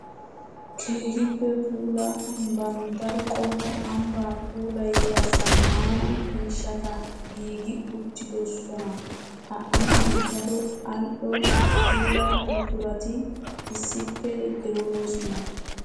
Keehippe puula ambban daro qommo ambba puulayiya zamaana miishshatta giigi uttidosna . Ha ambban daro ali'o puula buqurati issippe de'osona.